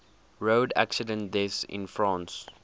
road accident deaths in france